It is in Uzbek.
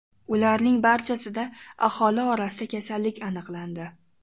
Ularning barchasida aholi orasida kasallik aniqlandi.